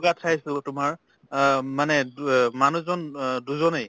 গাত চাইছিলো তোমাৰ আহ মানে দুয়ে মানুহ জন আহ দুজনে